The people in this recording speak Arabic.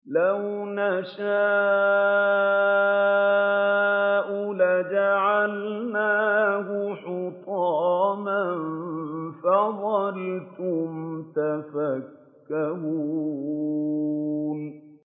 لَوْ نَشَاءُ لَجَعَلْنَاهُ حُطَامًا فَظَلْتُمْ تَفَكَّهُونَ